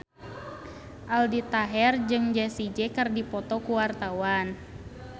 Aldi Taher jeung Jessie J keur dipoto ku wartawan